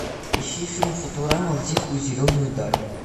ищи фильм футурама в дикую зеленую даль